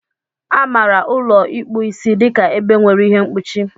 Amara ụlọ ịkpu Ịsị dịka ebe nwere ihe mkpuchi.